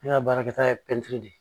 Ne ka baarakɛta ye de ye